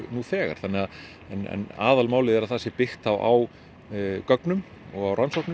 nú þegar aðalmálið að það sé byggt á gögnum og rannsóknum